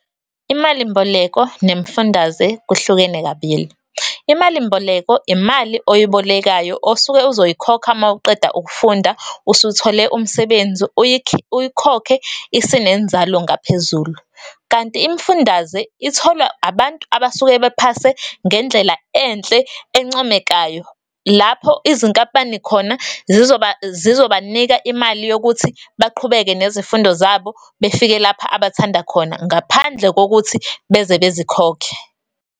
Imalimboleko nemifundaze kuhlukene kabili. Imalimboleko, imali oyibolekayo osuke uzoyikhokha mawuqeda ukufunda, usuthole umsebenzi, uyikhokhe isinenzalo ngaphezulu. Kanti, imifundaze itholwa abantu abasuke bephase ngendlela enhle, encomekayo. Lapho, izinkampani khona zizobanika imali yokuthi baqhubeke nezifundo zabo, befike lapha abathanda khona, ngaphandle kokuthi beze bezikhokhe.